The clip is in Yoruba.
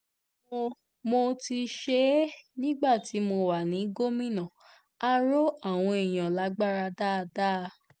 mo mo ti ṣe é nígbà tí mo wà ní gómìnà á rọ àwọn èèyàn lágbára dáadáa